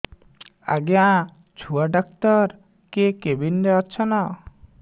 ଆଜ୍ଞା ଛୁଆ ଡାକ୍ତର କେ କେବିନ୍ ରେ ଅଛନ୍